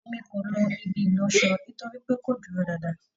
E mí ko ló ibi ìlọṣọ nítorípé kò dúró dáadáa